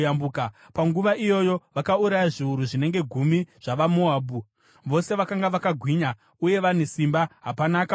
Panguva iyoyo vakauraya zviuru zvinenge gumi zvavaMoabhu, vose vakanga vakagwinya uye vane simba; hapana akapunyuka.